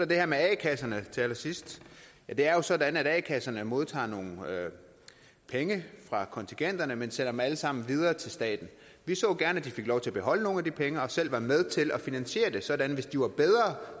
det her med a kasserne til allersidst det er jo sådan at a kasserne modtager nogle penge fra kontingenterne men sender dem alle sammen videre til staten vi så gerne at de fik lov til at beholde nogle af de penge og selv var med til at finansiere det sådan at hvis de var bedre